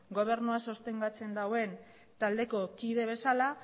gobernua sostengatzen duen taldeko kide bezala